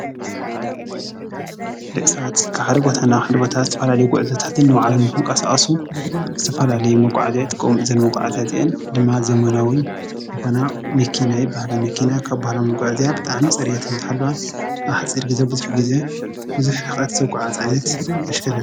መኪና ካብ ቦታ ናብ ቦታ ሰብን ንብረትን ንምምጉዕዓዝ ይጠቅም። መኪና ዓይነትን መጠንን ይፈላለያ እየን።